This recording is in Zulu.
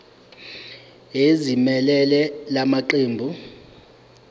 ezimelele la maqembu